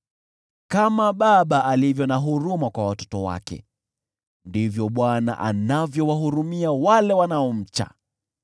Kama baba alivyo na huruma kwa watoto wake, ndivyo Bwana anavyowahurumia wale wanaomcha;